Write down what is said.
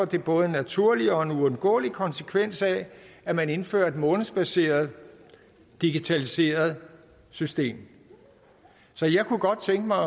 det både en naturlig og en uundgåelig konsekvens af at man indfører et månedsbaseret digitaliseret system så jeg kunne godt tænke mig at